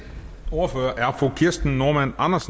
ordfører er fru kirsten normann andersen